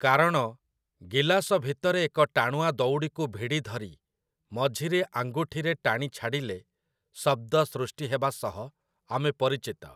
କାରଣ ଗିଲାସ ଭିତରେ ଏକ ଟାଣୁଆ ଦଉଡ଼ିକୁ ଭିଡ଼ି ଧରି ମଝିରେ ଆଙ୍ଗୁଠିରେ ଟାଣି ଛାଡ଼ିଲେ ଶବ୍ଦ ସୃଷ୍ଟି ହେବା ସହ ଆମେ ପରିଚିତ ।